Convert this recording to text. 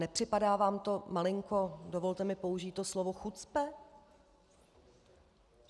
Nepřipadá vám to malinko, dovolte mi použít to slovo, chucpe?